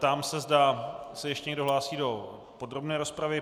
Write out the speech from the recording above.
Ptám se, zda se ještě někdo hlásí do podrobné rozpravy.